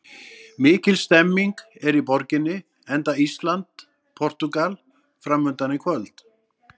Mikil stemning er í borginni enda Ísland- Portúgal framundan í kvöld.